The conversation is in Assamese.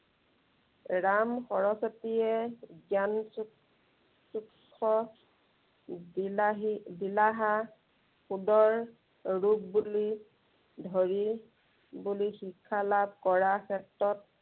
ৰাম সৰস্বতীয়ে জ্ঞান চু~চুক্ষ বিলাহী বিলাহা, সুদৰ ৰূপ বুলি ধৰি শিক্ষা লাভ কৰা ক্ষেত্ৰত